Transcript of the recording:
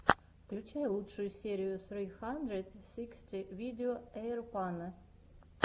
включай лучшую серию сри хандрэд сиксти видео эйрпано